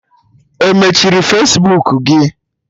E mechiri Fesbuku gị?